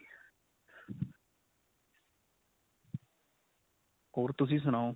ਹੋਰ ਤੁਸੀਂ ਸੁਨਾਓ